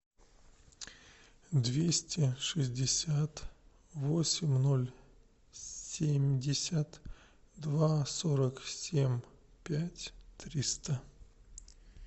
двести шестьдесят восемь ноль семьдесят два сорок семь пять триста